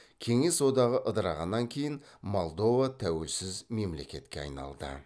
кеңес одағы ыдырағаннан кейін молдова тәуелсіз мемлекетке айналды